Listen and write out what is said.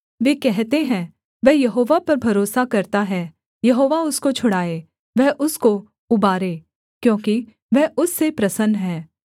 वे कहते है वह यहोवा पर भरोसा करता है यहोवा उसको छुड़ाए वह उसको उबारे क्योंकि वह उससे प्रसन्न है